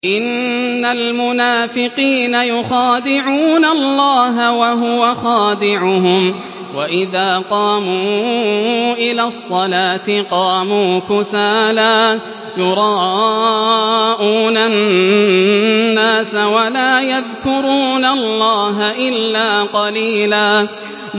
إِنَّ الْمُنَافِقِينَ يُخَادِعُونَ اللَّهَ وَهُوَ خَادِعُهُمْ وَإِذَا قَامُوا إِلَى الصَّلَاةِ قَامُوا كُسَالَىٰ يُرَاءُونَ النَّاسَ وَلَا يَذْكُرُونَ اللَّهَ إِلَّا قَلِيلًا